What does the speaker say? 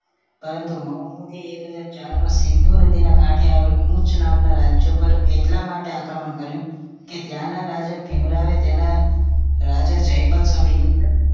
પરંતુ મોહમ્મદ દે એક હજાર ચાર માં સિંધુ નદીના કાંઠે આવેલું ઉચ નામના રાજ્ય પર એટલા માટે આક્રમન કર્યું ત્યાંનાં રાજાએ ભીમરાવે તેના રાજા જયપલ સામે યુદ્ધ